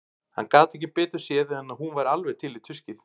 Hann gat ekki betur séð en að hún væri alveg til í tuskið.